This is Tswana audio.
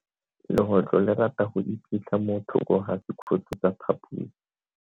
Legotlo le rata go iphitlha mo thoko ga sekhutlo sa phaposi.